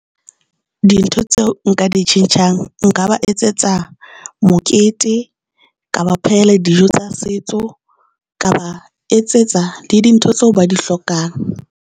Dintho tseo nka di tjhentjhang nka ba etsetsa mokete ka ba phehela dijo tsa setso, ka ba etsetsa le dintho tseo ba di hlokang.